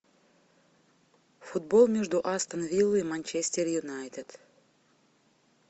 футбол между астон виллой и манчестер юнайтед